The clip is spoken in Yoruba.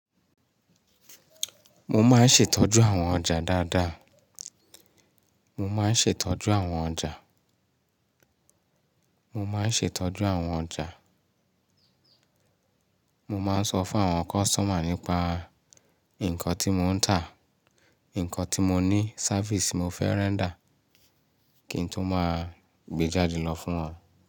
Mo máa ń ṣètọ́jú àwọn ọjà dáadáa. Mo máa ń ṣètọ́jú àwọn ọjà. Mo máa ń ṣètọ́jú àwọn ọjà. Mo máa ń sọ fún àwọn customer nípa nǹkan tí mò ń tà, nǹkan tí mo ní, service ti mo fẹ́ render kí n tó máa gbé jáde lọ fún wọn.